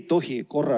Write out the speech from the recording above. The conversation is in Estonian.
Austatud minister!